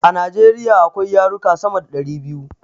A Najeriya akwai yaruka sama da ɗari biyu